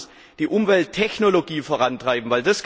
Also lasst uns die Umwelttechnologie vorantreiben!